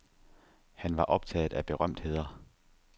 Han var optaget af berømtheder.